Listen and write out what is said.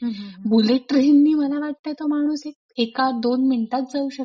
Bullet ट्रेननी मला वाटतंय का माणूस हा एका दोन मिनिटात जाऊ शकतो.